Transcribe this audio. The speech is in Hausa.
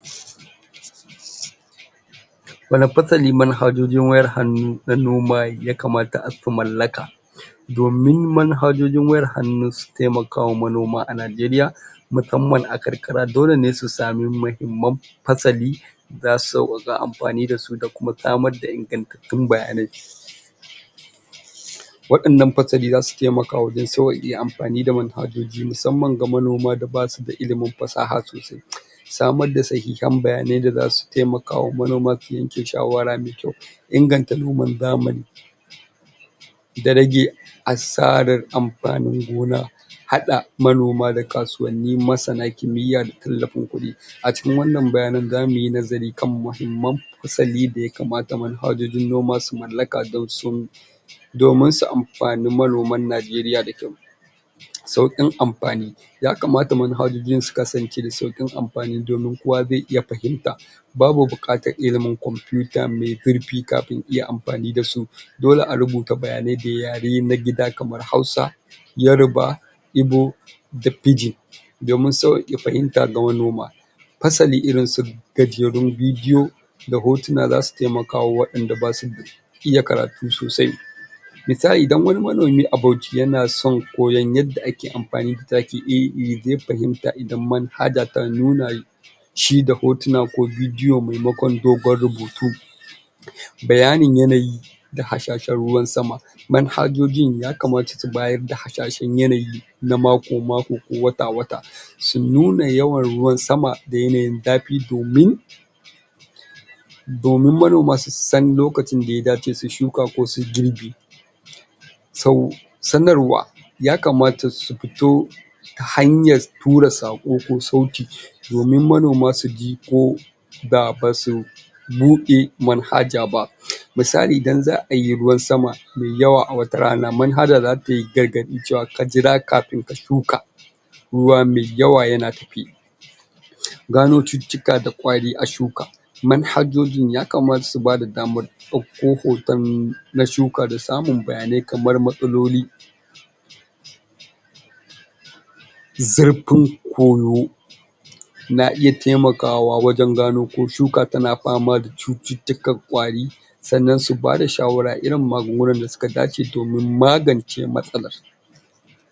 wani fasali, manhajojin wayar hannu manoma ya kamata ku malaka domin manhajojin wayar hannu su taimaka wa manoma a Najeriya musamman a karkara, dole ne su samu mahimman fassali zasu sawaƙa amfani da su, da kuma samar da ingattatun bayaniai waƴannan fasali zasu taimaka da sawaƙe amfani da manhajoji musamman ga manoma da basuda ilimin fassaha sammar da sahihan bayyyanai da zasu taimaka wa manoma su yanke shawara mai kyau inganta da rage assarrar amfanin gona haɗa manoma da kasuwanni masana kimiya da tallafo kuɗi acikin wannan bayyanai za muyi nazari kan muhimmam fassali da ya kamata manhajojin noma su mallaka don su domin su amfani manoman Najeriya da kyau sauƙin amfani ya kamata manhajojin, su kasance da sauƙin amfani domin kowa zai iya fahimta babu buƙatar ilimin kwamfuta mai zurfi kafin iya amfani da su dole a rubuta bayyanai da yare na gida kamar Hausa Yoruba Igbo da Pidgin domin sawaƙe fahimta ga manoma Fassali irinsu gajerun bidiyo da hotuna, za su taimaka wa waƴanda basu iya karatu soasai misali idan wani manomi a Bauchi, yana son koya yadda ake amfani da taki iri-iri, ya dai fahimta idan manhajar ta nuna mishi da hotuna ko bidiyo maimakon dogon rubutu bayanin yanayi da hashashen ruwan sama manhajojin ya kamata su bayar da hashashen yanayi, na mako-mako ko wata-wata su nuna yawan ruwan sama da yanayin zafi domin domin manoma su san lokacin da ya dace su yi shuka ko su yi girbi so, sanarwa ya kamata su fito ta hanyar tura saƙo ko sauti domin manoma suji ko baʼa basu buɗe manhaja ba misali idan zaʼa yi ruwan sama mai yawa a wata rana, manhajar zata iya gani cewa, ka jira kafin ka shuka ruwa mai yawa yana tafe jijiga da kwari a shuka manhajojin ya kamata su bada damar ɗauko hoton na shuka da samun bayanai kamar matsaloli zurfin koyo na iya taimakawa wajan gano ko shuka tana fama da cuttutukar ƙwari sannan su bada shawara irin magungunar da suka dace domin magance matsalar